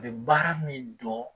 A be baara min dɔn